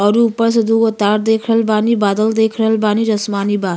औरु ऊपर से दूगो तार देख रहा बानी। बादल देख रहल बानी जो आसमानी बा।